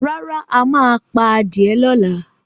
Rárá, mà á pa á die lọ́la.